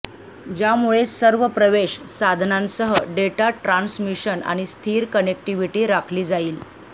ज्यामुळे सर्व प्रवेश साधनांसह डेटा ट्रान्समिशन आणि स्थिर कनेक्टिव्हिटी राखली जाईल